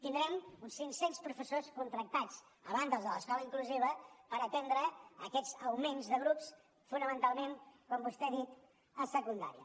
tindrem uns cinc cents professors contractats a banda dels de l’escola inclusiva per atendre aquests augments de grups fonamentalment com vostè ha dit a secundària